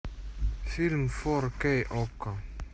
фильм фор кей окко